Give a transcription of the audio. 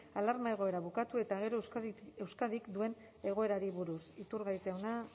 alarma egoera bukatu eta gero euskadik duen egoerari buruz iturgaiz jauna